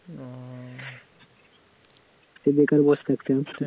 সে বেকার বসে থাকছিলাম,